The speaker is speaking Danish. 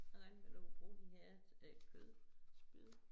Jeg regnede med du kunne bruge de her øh kødspyd